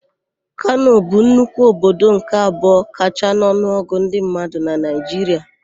Kano bụ nnukwu obodo nke abụọ kachaa n'ọnụọgụ ndị mmadụ na Naịjiria.